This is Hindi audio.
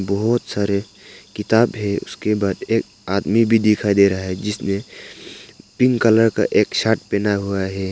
बहुत सारे किताब है उसके बाद एक आदमी भी दिखाई दे रहा है जिसने पिंक कलर का शर्ट पहना हुआ है।